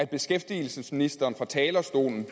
at beskæftigelsesministeren fra talerstolen